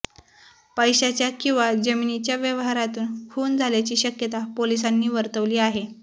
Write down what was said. पैशाच्या किंवा जमिनीच्या व्यवहारातून खून झाल्याची शक्यता पोलिसांनी वर्तवली आहे